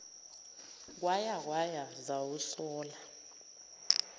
kwaya kwaya zawusola